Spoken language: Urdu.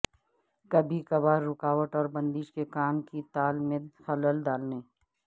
کبھی کبھار رکاوٹ اور بندش کے کام کی تال میں خلل ڈالنے